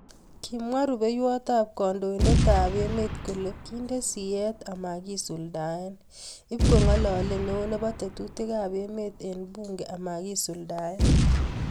Kimwaa rupeiwaat ap kandoindet AP emeet kolee kinde siyet amakisuldae ..ipkong'alalee neoo nepoo tetutik AP emeet eng bunge amakisuladae